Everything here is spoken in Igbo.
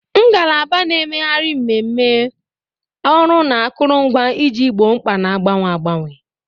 Ngalaba na-emegharị mmemme, ọrụ na akụrụngwa iji gboo mkpa na-agbanwe agbanwe.